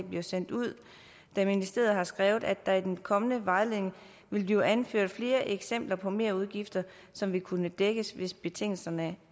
bliver sendt ud da ministeriet har skrevet at der i den kommende vejledning vil blive anført flere eksempler på merudgifter som vil kunne dækkes hvis betingelserne